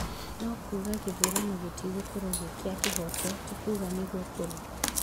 No kuuga gĩthurano gĩtigũkorwo gĩ kĩa kĩhooto ti kuuga nĩguo kũrĩ.